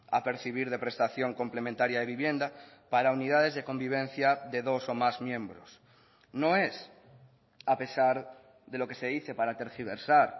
a percibir de prestación complementaria de vivienda para unidades de convivencia de dos o más miembros no es a pesar de lo que se dice para tergiversar